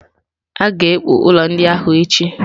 A ga-ekpu ụlọ ndị ahụ echi.